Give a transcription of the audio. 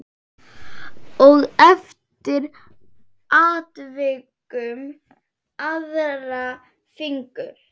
Og eftir atvikum aðra fingur.